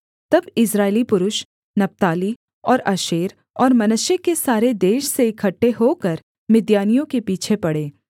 तब इस्राएली पुरुष नप्ताली और आशेर और मनश्शे के सारे देश से इकट्ठे होकर मिद्यानियों के पीछे पड़े